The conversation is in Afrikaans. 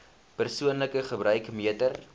persoonlike gebruik meter